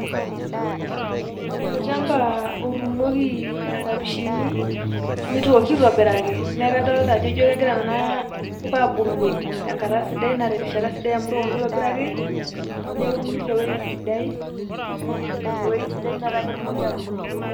Olchamba otuunoki nkambishini, nitoki aitobiraki. Neeku kadolta ajo, ijo kegira nena puka abulu tenkata sidai, na terishata sidai amu itokoki aitobiraki, neuni tewoi sidai, tewoi sidai metaa ketumoki atubulu ne.